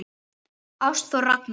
Ástþór Ragnar.